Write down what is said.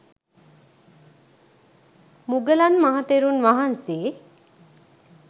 මුගලන් මහ තෙරුන් වහන්සේ